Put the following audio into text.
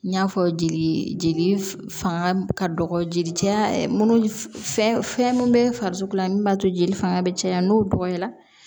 N y'a fɔ jeli jeli fanga ka dɔgɔ jeli cɛya munnu fɛn fɛn mun bɛ farisoko la min b'a to jeli fanga bɛ caya n'o dɔgɔyara